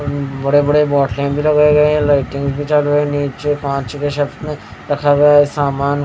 बड़े बड़े बॉटले भी लगाए गए हैं लाइटिंग भी चालू है नीचे पांचवे छत में रखा गया है सामान--